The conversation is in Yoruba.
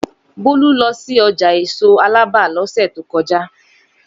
Bólú lọ sí ọjà èso Alábà lọ́sẹ̀ tó kọjá.